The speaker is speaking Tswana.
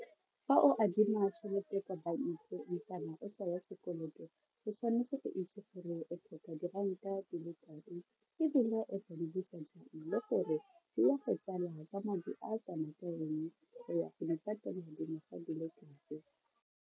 Fa o adima tšhelete kwa bankeng kana o tsaya sekoloto o tshwanetse go itse gore o tlhoka diranta di le kae ebile o tla di busa jang le gore e ya go tsala ka madi a kana ka eng, o ya go di patela dingwaga di le kae.